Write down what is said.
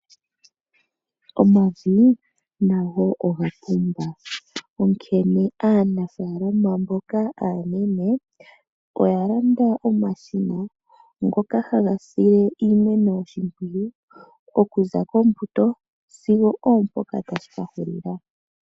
Omavi nago ogapumba onkene aanafalama mboka aanene oya landa omashina, ngoka haga sile iimeno oshimpwiyu okuza kombuto sigo oompoka tashi kahulila.